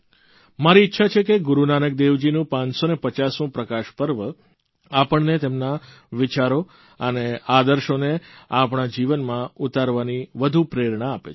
મારી ઇચ્છા છે કે ગુરૂનાનક દેવજીનું 550મું પ્રકાશપર્વ આપણને તેમના વિચારો અને આદર્શોને આપણા જીવનમાં ઉતારવાની વધુ પ્રેરણા આપે